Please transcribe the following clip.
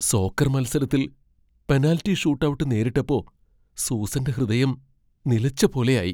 Soccer മത്സരത്തിൽ penalty shootout നേരിട്ടപ്പോ സൂസന്റെ ഹൃദയം നിലച്ചപോലെയായി.